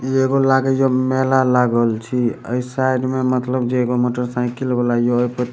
इ एगो लागे जो मेला लागल छी अय साइड में मतलब जे एगो मोटर साइकिल बला योहे प --